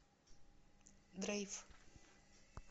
дрейф